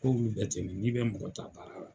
Ko olu bɛ n'i be mɔgɔ ta baara la.